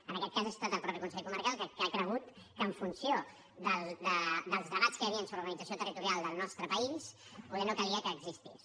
en aquest cas ha estat el mateix consell comarcal que ha cregut que en funció dels debats que hi havien sobre l’organització territorial del nostre país poder no calia que existís